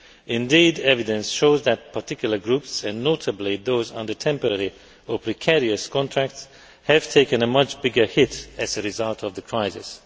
Indeed, evidence shows that particular groups, and notably those under temporary or precarious contracts, have taken a much bigger hit as a result of the crisis.